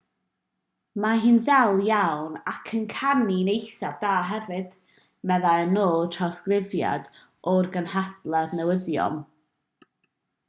mae hi'n ddel iawn ac yn canu'n eithaf da hefyd meddai yn ôl trawsgrifiad o'r gynhadledd newyddion